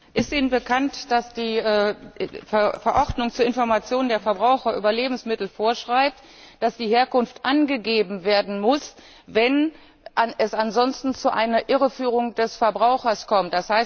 Ist Ihnen bekannt, dass die Verordnung zur Information der Verbraucher über Lebensmittel vorschreibt, dass die Herkunft angegeben werden muss, wenn es ansonsten zu einer Irreführung des Verbrauchers kommt?